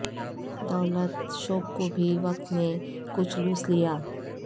دولت شوق کو بھی وقت نے کچھ لوث لیا